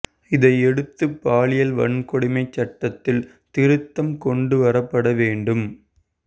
இதையடுத்து பாலியல் வன்கொடுமைச் சட்டத்தில் திருத்தம் கொண்டு வரப்பட வேண்டும்